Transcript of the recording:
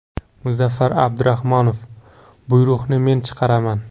Muzaffar Abdurahmonov: Buyruqni men chiqaraman.